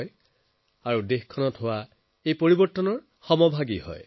এনে কৰি আপোনালোক দেশত হৈ থকা ব্যাপক পৰিৱৰ্তনৰ সমভাগী হব